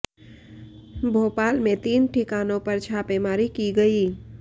भोपाल में तीन ठिकानों पर छापेमारी की गई